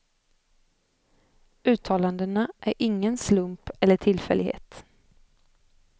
Uttalandena är ingen slump eller tillfällighet.